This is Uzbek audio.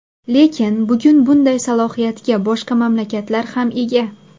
Lekin, bugun bunday salohiyatga boshqa mamlakatlar ham ega.